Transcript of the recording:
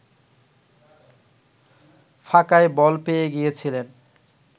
ফাঁকায় বল পেয়ে গিয়েছিলেন